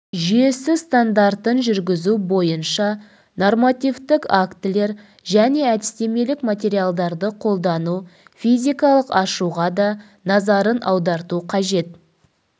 жүйесі стандартын жүргізу бойынша нормативтік актілер және әдістемелік материалдарды қолдану физикалық ашуға да назарын аударту қажет